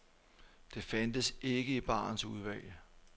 Det fandtes ikke i barens udvalg.